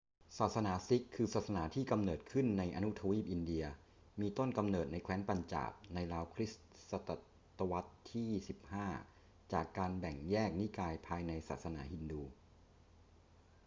ศาสนาซิกข์ คือศาสนาที่กำเนิดขึ้นในอนุทวีปอินเดีย มีต้นกำเนิดในแคว้นปัญจาบในราวคริสต์ศตวรรษที่ 15 จากการแบ่งแยกนิกายภายในศาสนาฮินดู